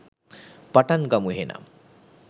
පටන් ගමු එහෙනම්.